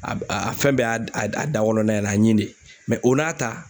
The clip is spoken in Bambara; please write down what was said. A a a fɛn bɛɛ y'a a da a d kɔnɔna ye a ɲi de o n'a ta